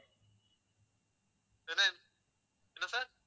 என்ன என்ன sir